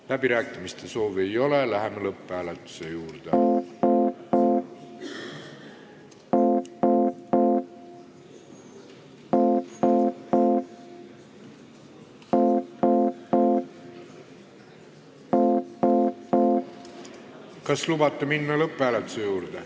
Läbirääkimiste soovi ei ole, läheme lõpphääletuse juurde.